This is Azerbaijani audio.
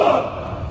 Sağ!